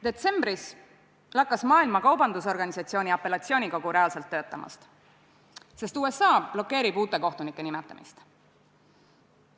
Detsembris lakkas Maailma Kaubandusorganisatsiooni apellatsioonikogu reaalselt töötamast, sest USA blokeerib uute kohtunike nimetamist.